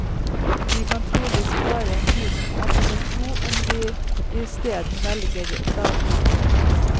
De kan trolig spare en tusenlapp eller to om de isteden velger dagmamma.